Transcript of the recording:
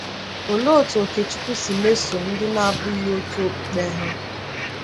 Olee otú Okechukwu si mesoo ndị na-abụghị otu okpukpe ha?